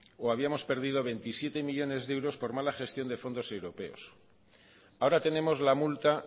o habíamos perdido veintisiete millónes de euros por mala gestión de fondos europeos ahora tenemos la multa